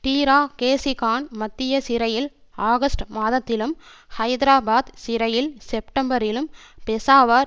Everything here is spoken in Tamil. டீரா கேசி கான் மத்திய சிறையில் ஆகஸ்ட் மாதத்திலும் ஹைதராபாத் சிறையில் செப்டம்பரிலும் பெஷாவார்